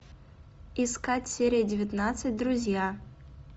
искать серия девятнадцать друзья